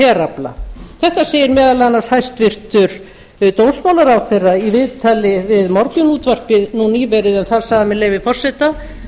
herafla þetta segir meðal annars hæstvirtur dómsmálaráðherra í viðtali við morgunútvarpið nú nýverið en þar sagði hann með leyfi forseta